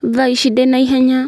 Thaa ici ndĩna hinya